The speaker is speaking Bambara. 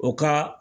O ka